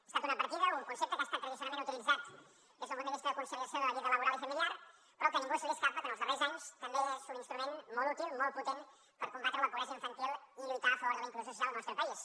ha estat una partida un concepte que ha estat tradicionalment utilitzat des d’un punt de vista de conciliació de la vida laboral i familiar però que a ningú se li escapa que els darrers anys també és un instrument molt útil molt potent per combatre la pobresa infantil i lluitar a favor de la inclusió social en el nostre país